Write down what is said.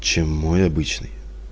чем мой обычный